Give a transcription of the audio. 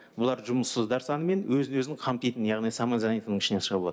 бұлар жұмыссыздар саны мен өзін өзін қамтитын яғни самозанятыйның ішінен шығып отыр